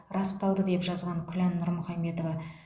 расталды деп жазған күлән нұрмұхаметова